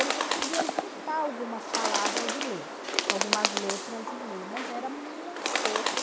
Ele conseguia juntar algumas palavras e ler, algumas letras e ler, mas era muito pouco.